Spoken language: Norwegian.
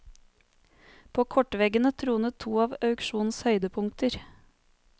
På kortveggene tronet to av auksjonens høydepunkter.